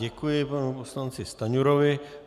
Děkuji panu poslanci Stanjurovi.